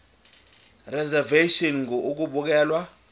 reservation ngur ukubekelwa